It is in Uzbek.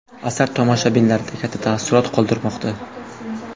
Asar tomoshabinlarda katta taassurot qoldirmoqda.